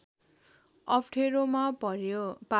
अप्ठेरोमा पार्‍यो